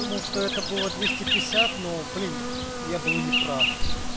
думал что это было двести пятьдесят но блин я был неправ